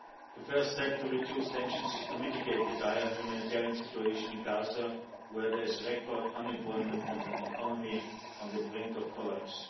The first step to reduce tensions is to mitigate the dire humanitarian situation in Gaza, where there is record unemployment and an economy on the brink of collapse.